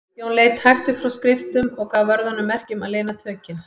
Jón leit hægt upp frá skriftum og gaf vörðunum merki um að lina tökin.